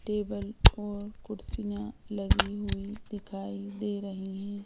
Table और कुर्सियां लगी हुई दिखाई दे रही हैं।